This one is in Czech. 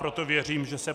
Proto věřím, že se